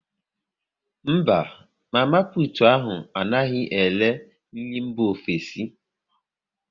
Mba, mama putu ahu anaghị ere nri mba ofesi